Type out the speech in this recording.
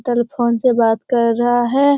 Telephone से बात कर रहा है।